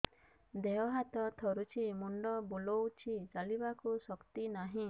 ଦେହ ହାତ ଥରୁଛି ମୁଣ୍ଡ ବୁଲଉଛି ଚାଲିବାକୁ ଶକ୍ତି ନାହିଁ